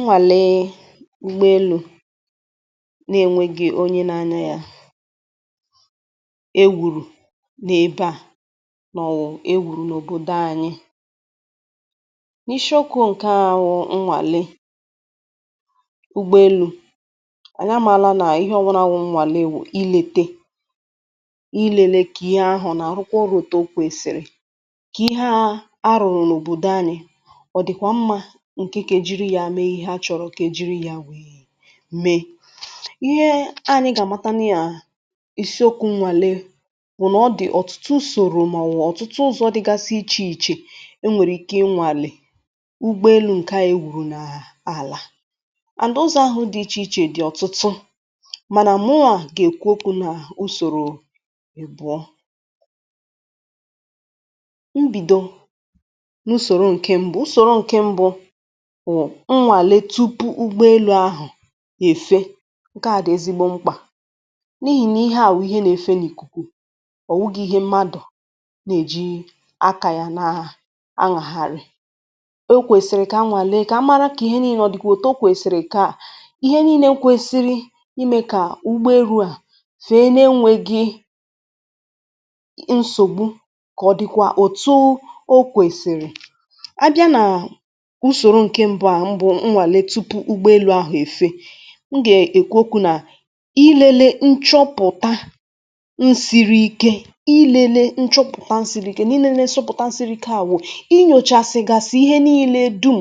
nwàle ụgbọelu̇ na-enwėghi̇ onye na-anya yȧ, e wùrù n’ebe à nà ọ wụ̀ e wùrù n’òbòdo anyị̇ n’ishi okwu̇ ǹke à wụ̀ nwàle ụgbọelu̇ ànyị ama màala nà ihe ọ̀wụrụ à wụ̀ nwàle wụ̀ ilėte ilėle kà ihe ahụ̀ nà àrụkwa rụ̀ta oru̇ òtù okwesìrì. kà ihe arụ̀rụ̀ n’òbòdo anyị̇ ọ dịkwa mma nke ka ejiri ya mee ihe a chọrọ ka ejiri ya wee mee. Ihe ànyị gà-àmata nà ya isiokwu̇ nwàle bụ̀ nà ọ dị̀ ọ̀tụtụ usòrò màwu ọ̀tụtụ ụzọ̇ dịgasị ichè ichè e nwèrè ike nwàlè ugbọ elu̇ ǹke ànyị gwụ̀rụ̀ nà àlà and ụzọ̇ ahụ̇ dị̀ ichè ichè dị̀ ọ̀tụtụ mànà mmụà gà-èkwu okwu̇ nà usòrò ịbùọ. Mbìdo nà usòrò ǹke mbu usòrò ǹke mbụ̇ bu nwalee tụpụ ụgbọelu ahụ efe ǹke à dị̀ ezigbo mkpà n’ihì na ihe à bụ̀ ihe nà-efe n’ìkùkù ọ̀ nwụgị̇ ihe mmadụ̀ nà-èji akȧ yȧ na aṅàghàrị̀. O kwèsìrì kà a nwàli èkà a mara kà ihe nii̇nyė dịkwȧ òtù o kwèsìrì kà ihe nii̇nė kwesiri imė kà ụgbọelu à fèe na-enwė gị nsògbu kọ̀ dịkwa òtù o kwèsìrì. A bia na usoro nke mbụ a bụ nwalee tụpụ ụgbọelu ahụ efe nga ekwu okwu na ilėlė nchọpụ̀ta nsìrì ike ilėle nchọpụ̀ta nsìrì ike n’ilėle mchọpụ̀ta nsìrì ike n'ilele mchọpụ̀ta isiri ike n'ilele mchọpụ̀ta a siri ike à wụ̀ inyòchà sị̀ gasị̀ ihe niilė dum̀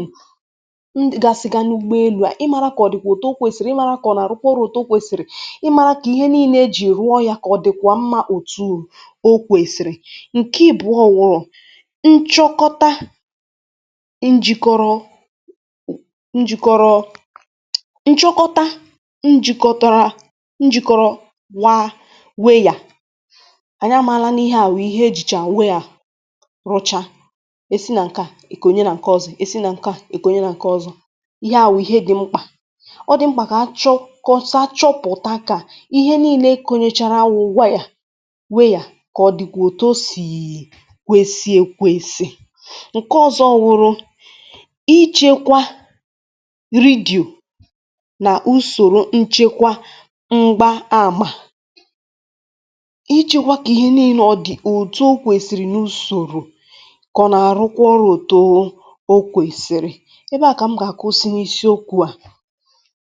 gasị̀gà n’ugbo elu̇ à ịmȧrȧ kà ọ̀ dị̀ kwà o too kwèsìrì ịmȧrȧ kà ọ nà-àrụkwa ọrụ̇ too kwèsìrì, ịmȧrȧ kà ihe niilė ejì rụọ yȧ kà ọ̀ dị̀kwà mmȧ òtù o kwèsìrì ǹke ị̀bụ̀ọ wụụ nchọkọta njikọrọ njikọrọ nchọkọta njìkọtara njìkọrọ waa wee yà. Anyị amaala n’ihe à wụ̀ ihe ejìchà wụ̀ ya rụcha e si nà ǹke à èkònye nà ǹke ọzọ̇, e si nà ǹke à èkònye nà ǹke ọzọ̇. Ihe à wụ̀ dị̇ mkpà ọ dị̀ mkpà kà achọ kọ̀pụta ka ihe nii̇lė kònyechara awụ wụ̀ wayà wee yà kà ọ dịkwà òtù sìì kwesì èkwesì. Nke ọzọ wụrụ ị chekwa nà usòrò nchekwa mgbȧ àmà. Ijikwa kà ihe niilė ọ dị̀ ùtu o kwèsìrì nà usòrò kà ọ nà-àrụkwa ọrụ̇ tụ o kwèsìrì ebe à kà m gà-àkụ si n’isi okwu̇ à.